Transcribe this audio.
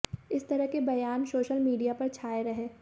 इस तरह के बयान सोशल मीडिया पर छाए रहे